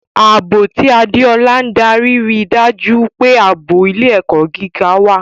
Ààbò, tí Adeola ń darí, rí i dájú pé ààbò ilé-ẹ̀kọ́ gíga wà.